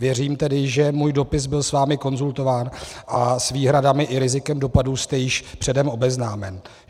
Věřím tedy, že můj dopis byl s vámi konzultován a s výhradami i rizikem dopadů jste již předem obeznámen.